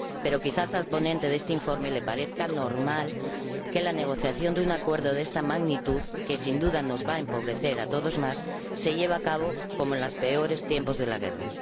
Pero quizá al ponente de este informe le parezca normal que la negociación de un acuerdo de esta magnitud —que, sin duda, nos va a empobrecer a todos más— se lleve a cabo como en los peores tiempos de la guerra.